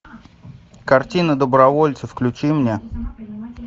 картина добровольцы включи мне